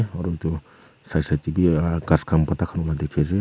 aru tu side side tey bi ah ghas khan bhorta khan wa dikhi ase.